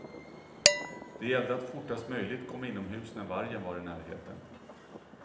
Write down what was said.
Det gällde att fortast möjligt komma inomhus när vargen var i närheten.